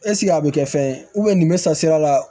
a bɛ kɛ fɛn ye nin bɛ san sira la